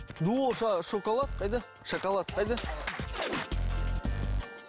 шоколад қайда шоколад қайда